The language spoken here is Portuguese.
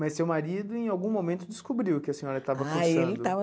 Mas seu marido em algum momento descobriu que a senhora estava cursando. Ah ele estava